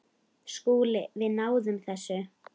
SKÚLI: Við náðum þessu.